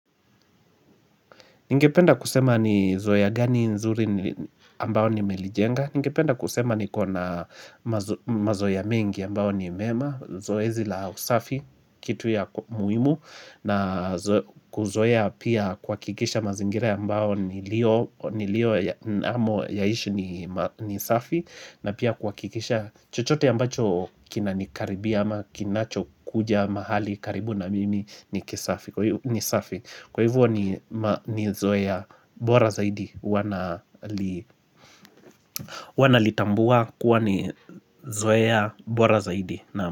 Ningependa kusema ni zoea gani nzuri ambao nimelijenga Ningependa kusema niko na mazoea mengi ambao ni mema Zoezi la usafi, kitu ya muhimu na kuzoea pia kuhakikisha mazingira ambao niliyo nilio yaishi ni safi na pia kuhakikisha chochote ambacho kinanikaribia ama kinacho kuja mahali karibu na mimi ni kisafi Kwa hivyo ni zoea bora zaidi wana nalitambua kuwa ni zoe bora zaidi.